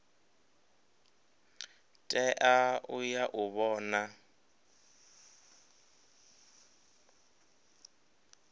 tea u ya u vhona